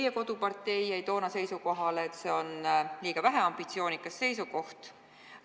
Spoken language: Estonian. Teie kodupartei jäi toona seisukohale, et see on liiga väheambitsioonikas seisukoht.